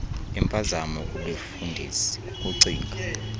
impazamo kubefundisi kukucinga